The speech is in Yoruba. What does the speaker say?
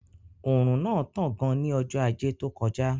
Òrùn náà tán gan ní ọjọ́ ajé tó kọjá